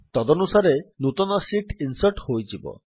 ତଦନୁସାରେ ନୂତନ sheet insert ହୋଇଯିବ